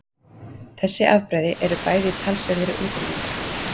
Þessi afbrigði eru bæði í talsverðri útrýmingarhættu.